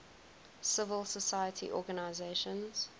civil society organizations